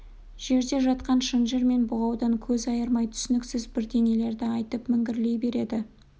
жерде жатқан шынжыр мен бұғаудан көз айырмай түсініксіз бірдеңелерді айтып міңгірлей береді